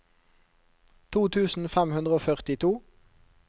to tusen fem hundre og førtito